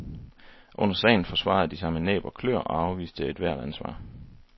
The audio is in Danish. Under sagen forsvarede de sig med næb og klør og afviste ethvert ansvar.